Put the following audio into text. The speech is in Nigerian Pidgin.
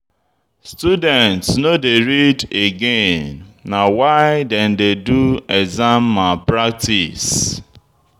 Students no dey read again na why dem dey do exam malpractice.